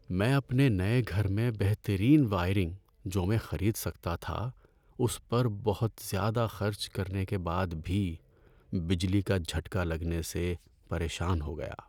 میں اپنے نئے گھر میں بہترین وائرنگ جو میں خرید سکتا تھا، اس پر بہت زیادہ خرچ کرنے کے بعد بھی بجلی کا جھٹکا لگنے سے پریشان ہو گیا۔